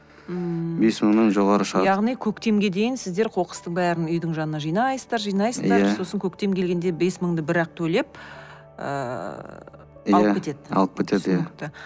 ммм бес мыңнан жоғары шығады яғни көктемге дейін сіздер қоқыстың бәрін үйдің жанына жинайсыздар жинайсыздар иә сосын көктем келгенде бес мыңды бірақ төлеп ыыы алып кетеді алып кетеді иә түсінікті